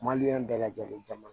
Maliyɛn bɛɛ lajɛlen caman